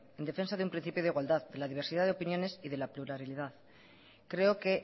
en defensa de un principio de igualdad de la diversidad de opiniones y de la pluralidad creo que